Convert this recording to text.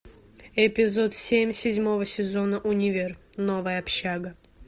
эпизод семь седьмого сезона универ новая общага